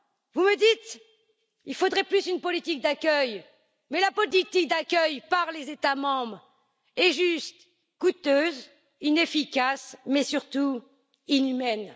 Vous me dites qu'il faudrait plus une politique d'accueil, mais la politique d'accueil par les États membres est juste coûteuse, inefficace mais surtout inhumaine.